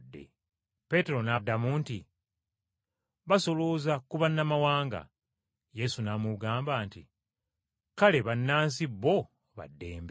Peetero n’addamu nti, “Basolooza ku bannamawanga.” Yesu n’amugamba nti, “Kale bannansi bo ba ddembe.”